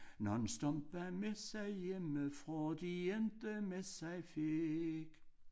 Nogle stumper med sig hjemmefra de ikke med sig fik